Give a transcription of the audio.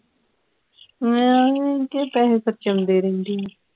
ਮੈਂ ਐਂਵੇਂ ਹੀ ਕੇ ਪੈਸੇ ਖ਼ਰਚ ਆਉਂਦੀ ਰਹਿਨੀ ਹਾਂ